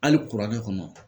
Hali kuranɛ kɔnɔ